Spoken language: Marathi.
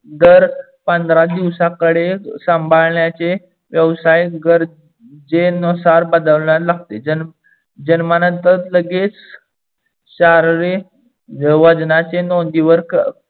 दर पंधरा दिवसाकडे सांभाडण्याचे व्यवसाय गरजेनुसार बदलवणार लागते. जन्मानंतर लगेच वजनाचे नोंदीवर